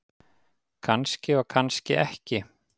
Kannski og kannski ekki.